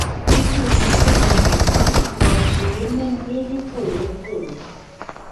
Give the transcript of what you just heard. ikú sisi quadri àwọn àgbàgbà òṣèré mọmì lójú pòròpórò